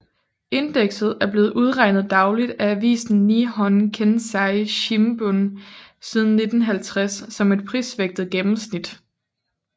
Indekset er blevet udregnet dagligt af avisen Nihon Keizai Shimbun siden 1950 som et prisvægtet gennenmsnit